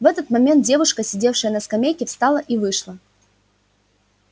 в этот момент девушка сидевшая на скамейке встала и вышла